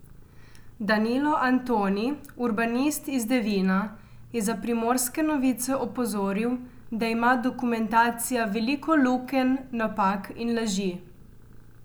Danilo Antoni, urbanist iz Devina, je za Primorske novice opozoril, da ima dokumentacija veliko lukenj, napak in laži.